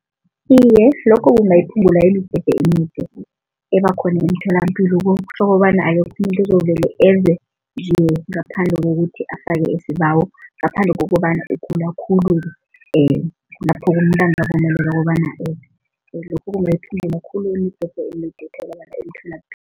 Iye, lokho kungayiphungula imijeje emide ebakhona emtholampilo ukobana akekho umuntu ozovele eze nje ngaphandle kokuthi afake isibawo, ngaphandle kokobana ugula khulu kulapho ukobana lokho kungayiphungula khulu imijeje emide etholakala emtholapilo.